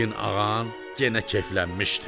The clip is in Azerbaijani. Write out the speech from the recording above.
yəqin ağan yenə keyflənmişdi.